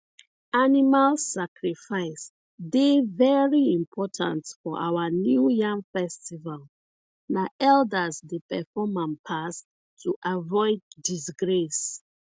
animal sacrifice dey very important for our new yam festival na elders dey perform am pass to avoid disgrace